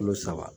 Kulo saba